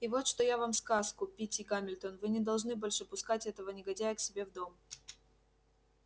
и вот что я вам сказку питти гамильтон вы не должны больше пускать этого негодяя к себе в дом